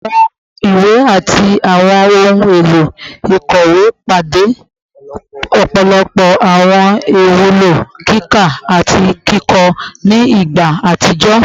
Awọn iwe ati awọn ohun elo ikọwe pade ọpọlọpọ awọn iwulo kika ati kikọ ni igba atijọ